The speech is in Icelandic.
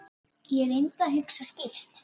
Ég reyndi að hugsa skýrt.